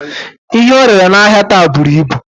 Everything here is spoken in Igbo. Ihe orere n'ahia taa buru ibu